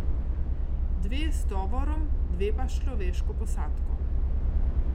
Dve s tovorom, dve pa s človeško posadko.